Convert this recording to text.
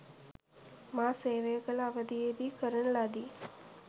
මා සේවය කළ අවධියේදී කරන ලදී.